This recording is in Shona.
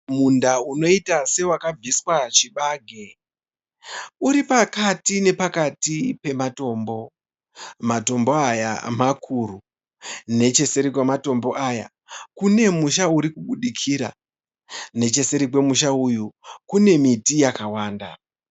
Munda unoita sewakabviswa chibage. Uri pakati nepakati pematombo. Matombo aya makuru. Necheseri kwematombo aya kune musha urikubudikira. Necheseri kwemusha uyu kune miti yakawanda.